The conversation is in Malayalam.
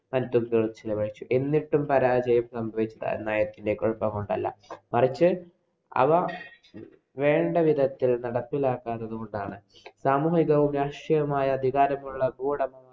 എന്നിട്ടും പരാജയം സംഭവിച്ചത് കുഴപ്പം കൊണ്ടല്ല. മറിച്ച്, അവ വേണ്ട വിധത്തില്‍ നടപ്പിലാക്കാഞ്ഞത് കൊണ്ടാണ്. സാമൂഹികവും, രാഷ്ടീയവുമായ വികാരങ്ങളുള്ള ഭൂവുടമ